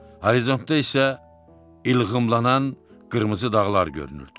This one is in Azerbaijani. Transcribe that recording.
Horizontda isə ilğımlanan qırmızı dağlar görünürdü.